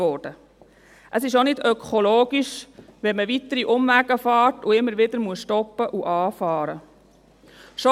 Es ist auch nicht ökologisch, wenn man weitere Umwege fährt und immer wieder stoppen und anfahren muss.